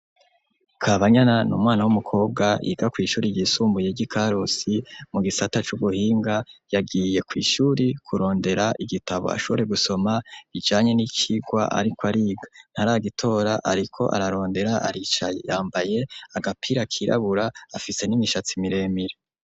Kabanyana ni umwana w'umukobwa yiga kw' ishuri ryisumbuye ry' i karusi mu gisata c'ubuhinga, yagiye kw' ishuri kurondera igitabo ashobore gusoma ibijanye n'icirwa ariko ariga. Ntaragitora ariko ararondera, aricaye, yambaye agapira kirabura, afise n'imishatsi miremire.